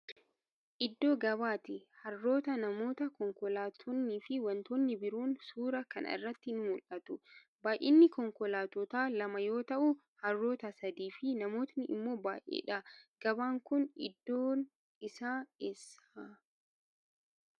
Iddoo gabaa ti. Harroota, namoota, konkolaattonnii fi wantoonni biroon suuraa kana irratti ni mul'atu. Baay'inni konkolaattotaa lama yoo ta'u, harroota sadii fi namootni immoo baay'ee dha. Gabaan kun iddoon isaa eessa?